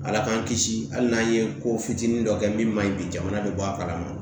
Ala k'an kisi hali n'an ye ko fitini dɔ kɛ min ma ɲi bi jamana bɛ bɔ a kalama